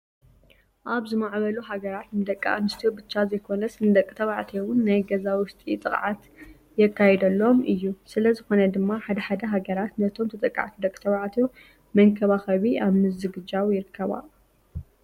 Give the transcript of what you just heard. ኣብ ዝማዕበሉ ሃገራት ንደቂ ኣንስትዮ ብቻ ዘይኾነስ ንደቂ ተባዕትዮ እውን ናይ ገዛ ውሽጢ ጥቅዓት የካየደሎም እዩ። ስለዝኾነ ድማ ሓደ ሓደ ሃገራት ነቶም ተጠቃዕቲ ደቂ ተባዕትዮ መንኸባከኸቢ ኣብ ምዝግጃው ይርከባ።